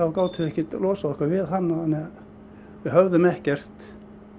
þá gátum við ekkert losað okkur við hann þannig að við höfðum ekkert